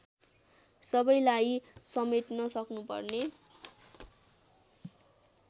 सबैलाई समेट्न सक्नुपर्ने